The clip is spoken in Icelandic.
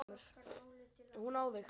Og hún á þig.